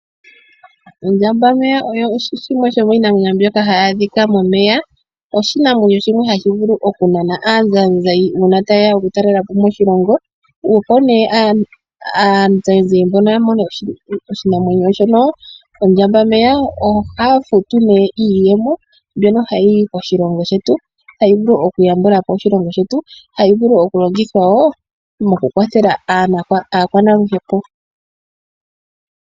Ondjambameya oyo shimwe sho miinamwenyo mbyoka hayi adhika momeya. Oshinamwenyo shimwe hashi vulu okunana aazayizayi uuna taye ya okutalelapo moshilongo. Opo nee aazayizayi mbono ya mone oshinamwenyo shono ondjambameya, ohaya futu nee iiyemo mbyono hayi yi koshilongo shetu. Hayi vulu okuyambulapo oshilongo shetu, hayi vulu okulongithwa wo mokukwathela aakwanaluhepo.